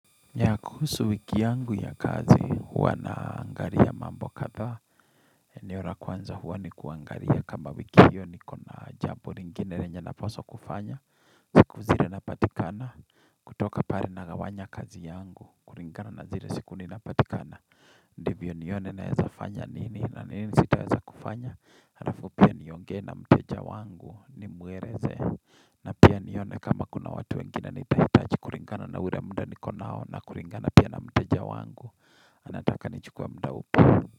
Yaa, kuhusu wiki yangu ya kazi huwa naangalia mambo kadha eneo la kwanza huwa ni kuangalia kamba wiki hiyo niko na jambo lingine lenye napaswa kufanya Siku zile napatikana Kutoka pale nagawanya kazi yangu kulingana na zilee siku ninapatikana Ndivyo nione naweza fanya nini na nini sitaweza kufanya Halafu pia niongee na mteja wangu ni muereze Na pia nione kama kuna watu wengine nitahitachi kuringana na ule muda niko nao na kuringana pia na mteja wangu Anataka nichukue mda upi.